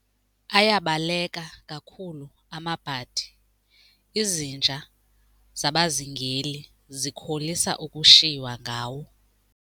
Ayabaleka kakhulu amabhadi, izinja zabazingeli zikholisa ukushiywa ngawo.